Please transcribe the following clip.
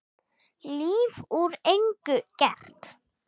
Líf úr engu gert.